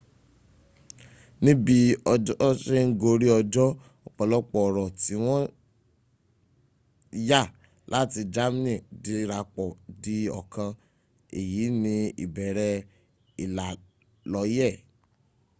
níbí ọjọ́ se ń gorí ọjọ́ ọ̀pọ̀lọpọ̀ ọ̀rọ̀ tí wọ́n yá láti germany dirapọ̀ di ọ̀kan. èyí ni ìbẹ̀rẹ̀ ìlàlọ́yẹ̀